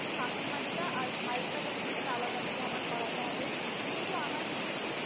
কাকিমারটা আর ভাই এর তা আলাদা ভাবে আবার করাতে হবে কিন্তু আমার যেটুকু মনে হয়